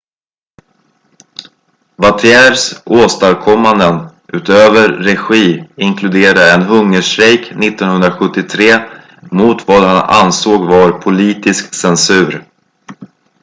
vautiers åstadkommanden utöver regi inkluderar en hungerstrejk 1973 mot vad han ansåg var politisk censur